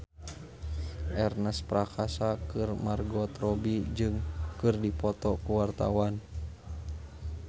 Ernest Prakasa jeung Margot Robbie keur dipoto ku wartawan